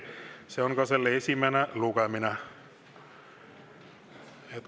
See oleks ka selle esimene lugemine.